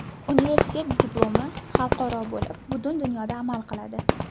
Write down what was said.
Universitet diplomi xalqaro bo‘lib, butun dunyoda amal qiladi!